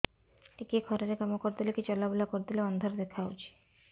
ଟିକେ ଖରା ରେ କାମ କରିଦେଲେ କି ଚଲବୁଲା କରିଦେଲେ ଅନ୍ଧାର ଦେଖା ହଉଚି